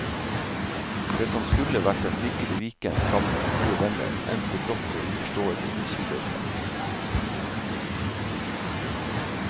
Det som skulle vært en hyggelig weekend sammen med gode venner, endte brått og uforståelig i skiløypa.